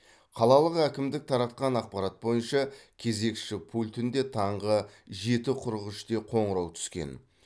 қалалық әкімдік таратқан ақпарат бойынша кезекші пультінде таңғы жеті қырық үште қоңырау түскен